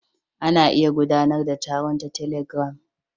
Ana iya gudanar da taron ta telegram.